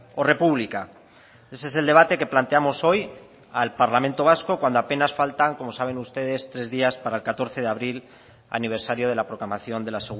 o república ese es el debate que planteamos hoy al parlamento vasco cuando apenas faltan como saben ustedes tres días para el catorce de abril aniversario de la proclamación de la